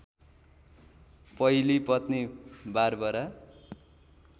पहिली पत्नी बारबरा